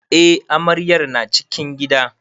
Eh amaryar na cikin gida.